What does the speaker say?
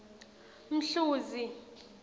mhluzi